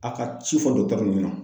A ka ci fɔ ɲɛna.